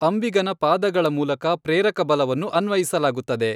ಅಂಬಿಗನ ಪಾದಗಳ ಮೂಲಕ ಪ್ರೇರಕಬಲವನ್ನು ಅನ್ವಯಿಸಲಾಗುತ್ತದೆ.